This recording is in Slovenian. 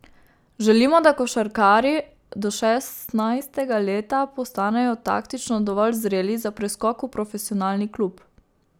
Želimo, da košarkarji do šestnajstega leta postanejo taktično dovolj zreli za preskok v profesionalni klub.